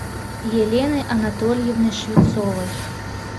елены анатольевны швецовой